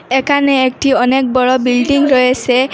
এখানে একটি অনেক বড়ো বিল্ডিং রয়েসে।